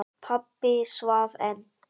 Pabbi svaf enn.